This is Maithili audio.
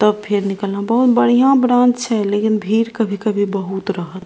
त फिर निकला बहुत बढ़िया ब्राँच है लेकिन भीड़ कभी-कभी बहुत रहत --